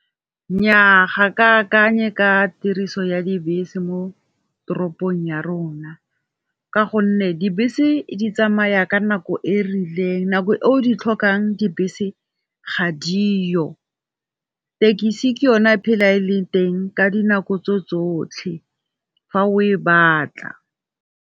Nnyaa ga ke akanye ka tiriso ya dibese mo toropong ya rona, ka gonne dibese di tsamaya ka nako e rileng nako o di tlhokang dibese ga diyo. Thekisi ke yone e phela e leng teng ka dinako tsotlhe fa o e batla.